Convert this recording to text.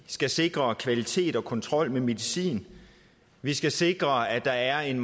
skal sikre kvalitet af og kontrol med medicin vi skal sikre at der er en